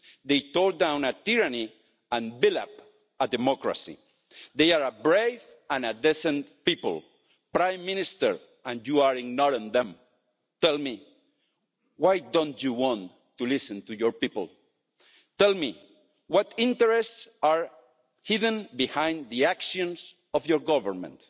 They tore down a tyranny and built up a democracy. They are a brave and a decent people, Prime Minister, and you are ignoring them. Tell me, why don't you want to listen to your people? Tell me, what interests are hidden behind the actions of your Government?